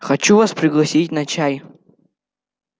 хочу вас пригласить на чай